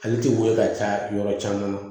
Ale tɛ weele ka ca yɔrɔ caman na